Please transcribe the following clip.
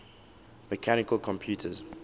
mechanical computers